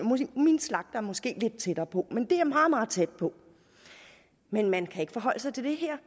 min slagter er måske lidt tættere på men det er meget meget tæt på men man kan ikke forholde sig til det her